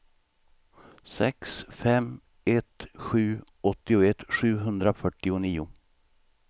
sex fem ett sju åttioett sjuhundrafyrtionio